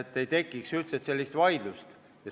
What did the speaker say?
Siis ei tekiks üldse erilist vaidlust.